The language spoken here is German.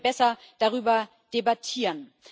Dann können wir besser darüber debattieren.